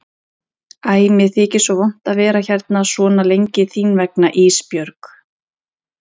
Æ mér þykir svo vont að vera hérna svona lengi þín vegna Ísbjörg.